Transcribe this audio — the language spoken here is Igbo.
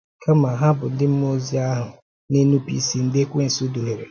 Kàma, hà bụ ndị mmụọ ozi ahụ na-enùpụ̀ ísì ndị ekwensụ duhìèrè.